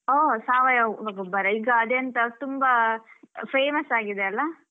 ಹಾ ಸಾವಯವ ಗೊಬ್ಬರ, ಈಗ ಅದೆಂತಾ ತುಂಬಾ famous ಆಗಿದೆ ಅಲ್ಲಾ.